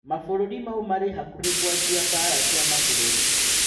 Mabũruri mau marĩ-hakuhi kũanjia mbara cia mabũruri.